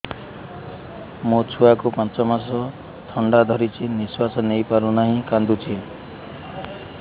ମୋ ଛୁଆକୁ ପାଞ୍ଚ ମାସ ଥଣ୍ଡା ଧରିଛି ନିଶ୍ୱାସ ନେଇ ପାରୁ ନାହିଁ କାଂଦୁଛି